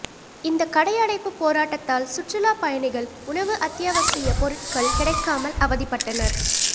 இந்த கடை அடைப்பு போராட்டத்தால் சுற்றுலா பயணிகள் உணவு அத்தியாவசிய பொருட்கள் கிடைக்காமல் அவதிப்பட்டனர்